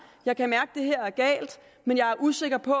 jeg kan mærke at det her er galt men jeg er usikker på